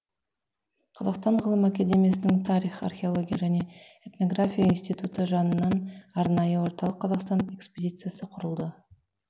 қазақстан ғылым академиясының тарих археолология және этнография институты жанынан арнайы орталық қазақстан экспедициясы құрылды